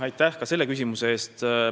Aitäh ka selle küsimuse eest!